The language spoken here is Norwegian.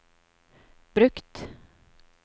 brukt